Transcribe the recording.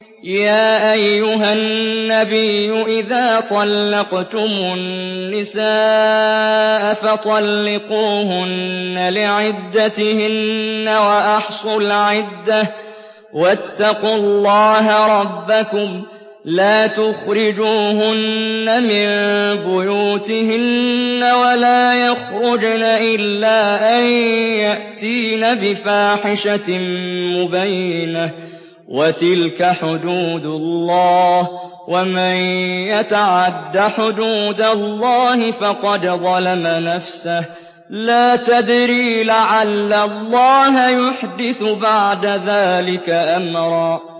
يَا أَيُّهَا النَّبِيُّ إِذَا طَلَّقْتُمُ النِّسَاءَ فَطَلِّقُوهُنَّ لِعِدَّتِهِنَّ وَأَحْصُوا الْعِدَّةَ ۖ وَاتَّقُوا اللَّهَ رَبَّكُمْ ۖ لَا تُخْرِجُوهُنَّ مِن بُيُوتِهِنَّ وَلَا يَخْرُجْنَ إِلَّا أَن يَأْتِينَ بِفَاحِشَةٍ مُّبَيِّنَةٍ ۚ وَتِلْكَ حُدُودُ اللَّهِ ۚ وَمَن يَتَعَدَّ حُدُودَ اللَّهِ فَقَدْ ظَلَمَ نَفْسَهُ ۚ لَا تَدْرِي لَعَلَّ اللَّهَ يُحْدِثُ بَعْدَ ذَٰلِكَ أَمْرًا